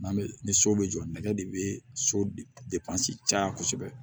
N'an bɛ ni so bɛ jɔ nɛgɛ de bɛ so caya kosɛbɛ